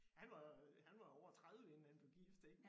Han var jo han var over 30 inden han blev gift ik